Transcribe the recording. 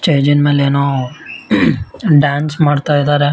Stage ಜಿನ್ ಮೇಲೆ ಏನೋ ಡಾನ್ಸ್ ಮಾಡ್ತಾ ಇದ್ದಾರೆ .